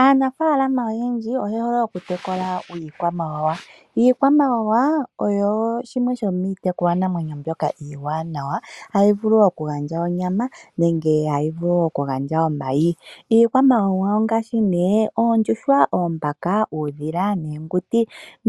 Aanafaalama oyendji oye hole oku tekula iikwamawawa. Iikwamawawa oyo shimwe shomiitekulwa namwenyo mbyoka oshiwanawa. Ohayi vulu oku gandja onyama nenge hayi vulu oku gandja omayi. Iikwamawawa ongaashi nee oondjuhwa, oombaka, uudhila, oonguti